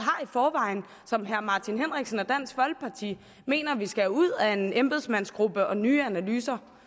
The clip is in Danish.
som herre martin henriksen og dansk folkeparti mener vi skal have ud af en embedsmandsgruppe og nye analyser